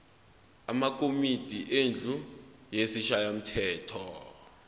amakomidi endlu yesishayamthetho